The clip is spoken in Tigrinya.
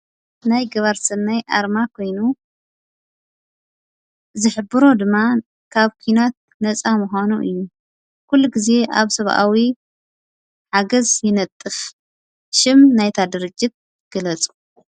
ናይ ገባርሠናይ ኣርማ ኾይኑ ዘኅብሮ ድማ ካብ ኲናት ነፃ ምዃኑ እዩ። ኲሉ ጊዜ ኣብ ሰብኣዊ ሓገዝ ይነጥፍ። ሽም ናይታ ድርጅት ግለፁ?